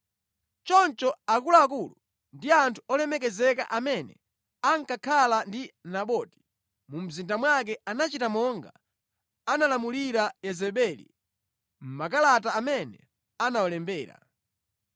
Choncho akuluakulu ndi anthu olemekezeka amene ankakhala ndi Naboti mu mzinda mwake anachita monga analamulira Yezebeli mʼmakalata amene anawalembera.